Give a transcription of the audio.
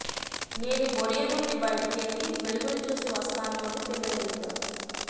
నేను బొరియ నుండి బయటకెళ్లి వెలుగును చూసి వస్తాను అంది పిల్ల ఎలుక